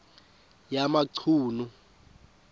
yamachunu